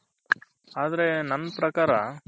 ಆದ್ರೆ ನನ್ ಪ್ರಕಾರ .